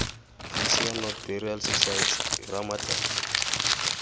protea north burial society ramatlotlo